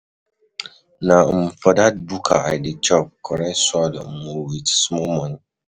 Na um for dat buka I dey chop correct swallow wit small moni.